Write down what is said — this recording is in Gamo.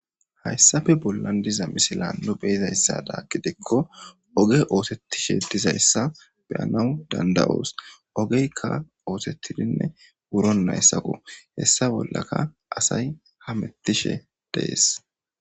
Haysape bolan de'iza misilen nu be'izasato gidiko oge oosetishe dizaysa be'anawu danda'os ogeka oosetidine wurunaysako heesa bolaka asay hametishe de'es.